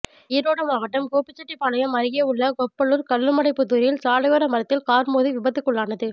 ஈரோடு மாவட்டம் கோபிசெட்டிபாளையம் அருகே உள்ள கொப்பளூா் கல்லுமடைப்புதூாில் சாலையோர மரத்தில் காா் மோதி விபத்துக்குள்ளானது